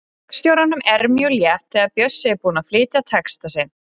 Leikstjóranum er mjög létt þegar Bjössi er búinn að flytja texta sinn.